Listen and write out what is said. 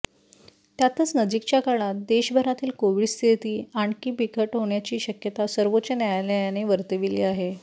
त्यातच नजीकच्या काळात देशभरातील कोविड स्थिती आणखी बिकट होण्याची शक्यता सर्वोच्च न्यायालयाने वर्तविली आहे